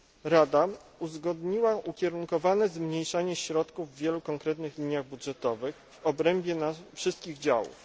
Rada uzgodniła ukierunkowane zmniejszanie środków w wielu konkretnych liniach budżetowych w obrębie wszystkich działów.